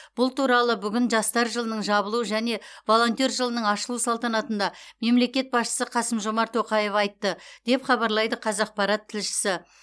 бұл туралы бүгін жастар жылының жабылу және волонтер жылының ашылу салтанатында мемлекет басшысы қасым жомарт тоқаев айтты деп хабарлайды қазақпарат тілшісі